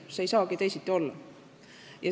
See ei saagi teisiti olla.